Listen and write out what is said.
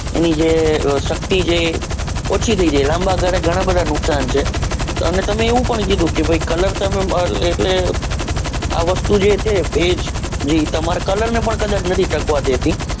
એની જે શક્તિ છે એ ઓછી થઇ જાય લાંબા ગાલે ગણા બધા નુકસાન છે અને તમે એવું પણ કીધું કે ભાઈ colour તમે આ વસ્તુ છે જે ભેજ એ colour ને પણ કદાચ નથી ટકવા દેતી.